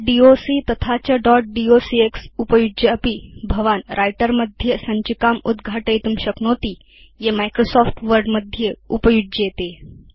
dot doc तथा च dot docx उपयुज्यापि भवान् व्रिटर मध्ये सञ्चिकाम् उद्घाटयितुं शक्नोति ये माइक्रोसॉफ्ट वर्ड मध्ये उपयुज्येते